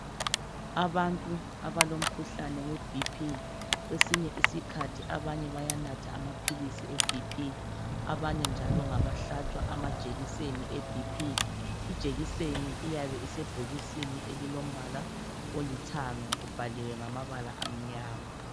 Abantu abalo mkhuhlane we B.P kwesinye isikhathi abanye bayanatha amaphilisi e B.P abanye njalo ngabahlatshwa amajekiseni e B.P.Ijekiseni iyabe isebhokisini elilombala olithanga kubhaliwe ngamabala amnyama.